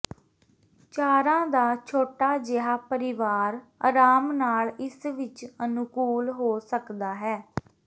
ਚਾਰਾਂ ਦਾ ਛੋਟਾ ਜਿਹਾ ਪਰਿਵਾਰ ਆਰਾਮ ਨਾਲ ਇਸ ਵਿਚ ਅਨੁਕੂਲ ਹੋ ਸਕਦਾ ਹੈ